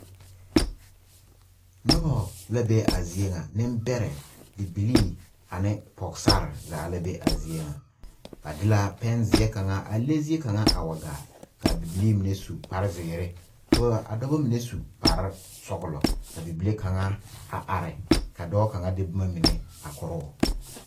Noba la be a zie ŋa nembɛrɛ bibilii ane pɔgesare zaa la be a zie ŋa ba de la pɛnzeɛ kaŋa a le zie kaŋa a wa gaa k,a bibilii mine su kparezeere ka ba ka a dɔba mine su kparesɔglɔ ka bibile kaŋa a are ka dɔɔ kaŋa de boma mine a korɔ o.